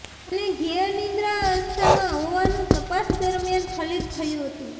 અને ઘેર નિદ્વા અસ્થામાં હોવાનું તપાસ દરમ્યાન ફલિત થયું હતું